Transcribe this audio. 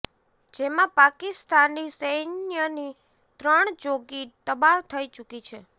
જેમાં પાકિસ્તાની સૈન્યની ત્રણ ચોકી તબાહ થઈ ચૂકી છે